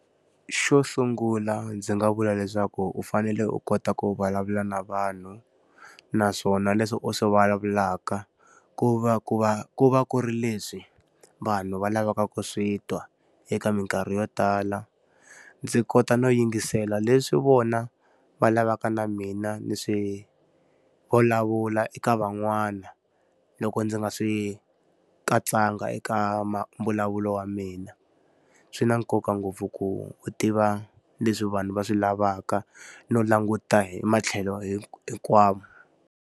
Xo sungula ndzi nga vula leswaku u fanele u kota ku vulavula na vanhu, naswona leswi u swi vulavulaka ku va ku va ku va ku ri leswi vanhu va lavaka ku swi twa eka minkarhi yo tala. Ndzi kota no yingisela leswi vona va lavaka na mina ni swi vulavula eka van'wana loko ndzi nga swi katsanga eka mbulavulo wa mina. Swi na nkoka ngopfu ku u tiva leswi vanhu va swi lavaka, no languta hi matlhelo hinkwawo.